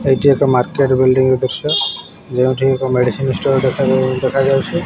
ଏଇଠି ଏକ market building ର ଦୃଶ୍ୟ ଯେଉଁଠି ଏକ ମେଡ଼ିସିନ ଷ୍ଟୋର ଦେଖାଯାଉ ଦେଖାଯାଉଚି।